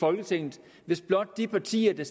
folketinget hvis blot de partier der